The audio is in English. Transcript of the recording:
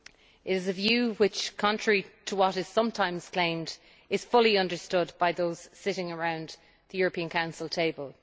It is a view which contrary to what is sometimes claimed is fully understood by those sitting around the European Council table.